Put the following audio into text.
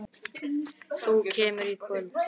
Þú kemur í kvöld!